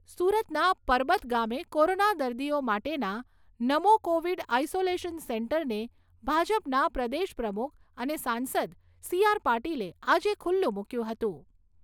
સુરતના પરબત ગામે કોરોના દર્દીઓ માટેના "નમો કોવિડ આઇસોલેશન સેન્ટર" ને ભાજપના પ્રદેશ પ્રમુખ અને સાંસદ સી આર પાટિલે આજે ખુલ્લુ મૂક્યું હતું.